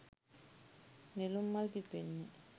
නෙළුම් මල් පිපෙන්නේ.